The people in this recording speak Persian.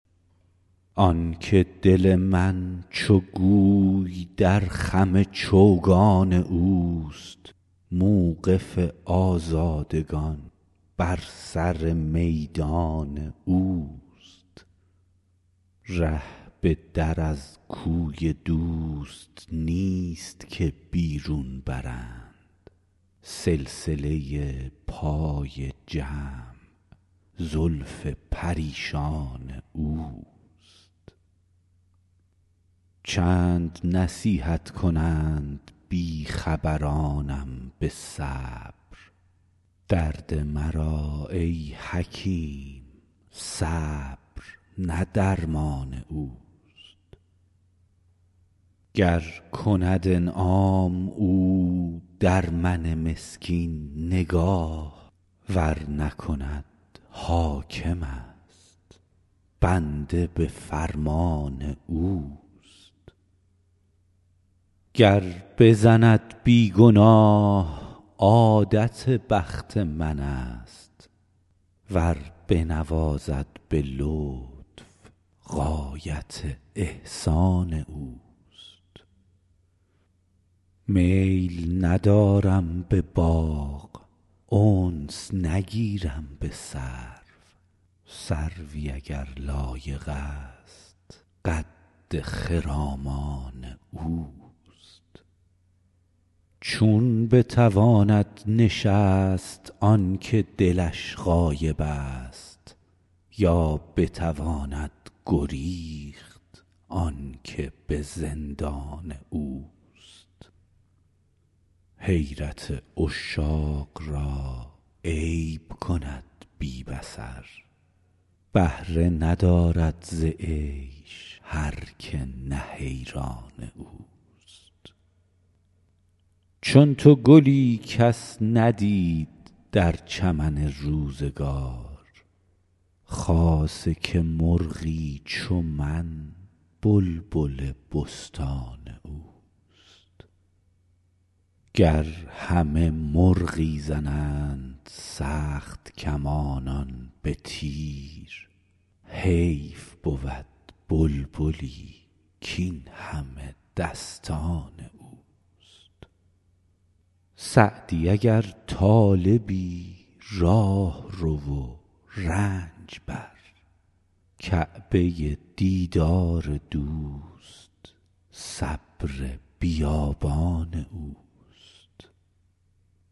آن که دل من چو گوی در خم چوگان اوست موقف آزادگان بر سر میدان اوست ره به در از کوی دوست نیست که بیرون برند سلسله پای جمع زلف پریشان اوست چند نصیحت کنند بی خبرانم به صبر درد مرا ای حکیم صبر نه درمان اوست گر کند انعام او در من مسکین نگاه ور نکند حاکمست بنده به فرمان اوست گر بزند بی گناه عادت بخت منست ور بنوازد به لطف غایت احسان اوست میل ندارم به باغ انس نگیرم به سرو سروی اگر لایقست قد خرامان اوست چون بتواند نشست آن که دلش غایبست یا بتواند گریخت آن که به زندان اوست حیرت عشاق را عیب کند بی بصر بهره ندارد ز عیش هر که نه حیران اوست چون تو گلی کس ندید در چمن روزگار خاصه که مرغی چو من بلبل بستان اوست گر همه مرغی زنند سخت کمانان به تیر حیف بود بلبلی کاین همه دستان اوست سعدی اگر طالبی راه رو و رنج بر کعبه دیدار دوست صبر بیابان اوست